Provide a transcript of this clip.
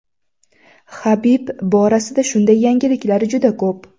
Habib borasida shunday yangiliklar juda ko‘p.